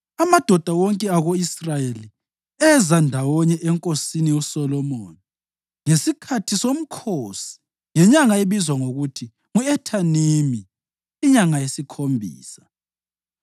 Amadoda wonke ako-Israyeli eza ndawonye enkosini uSolomoni ngesikhathi somkhosi ngenyanga ebizwa ngokuthi ngu-Ethanimi, inyanga yesikhombisa.